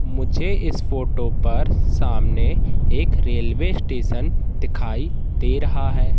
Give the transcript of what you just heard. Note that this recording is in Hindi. मुझे इस फोटो पर सामने एक रेलवे स्टेशन दिखाई दे रहा है।